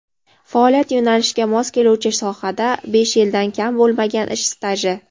Faoliyat yo‘nalishiga mos keluvchi sohada besh yildan kam bo‘lmagan ish staji.